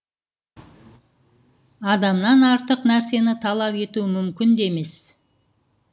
адамнан артық нәрсені талап ету мүмкін де емес